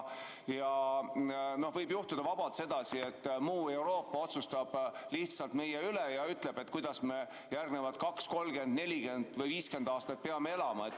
Võib vabalt juhtuda sedasi, et muu Euroopa otsustab meie eest ja ütleb, kuidas me järgnevad 20, 30, 40 või 50 aastat peame elama.